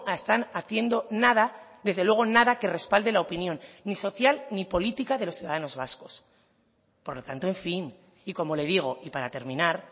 están haciendo nada desde luego nada que respalde la opinión ni social ni política de los ciudadanos vascos por lo tanto en fin y como le digo y para terminar